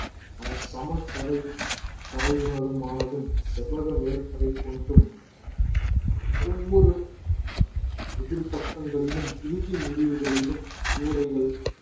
அந்த சமதரை தரையுனதமானதும் செவ்வக மேற்பறை கொண்டும் ஒவ்வொரு எதிர் பக்கங்களிலும் இறுதி முடிவுகளிலும் கூடைகள்